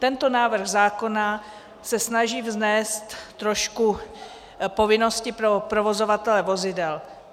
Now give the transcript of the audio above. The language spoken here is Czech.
Tento návrh zákona se snaží vnést trošku povinnosti pro provozovatele vozidel.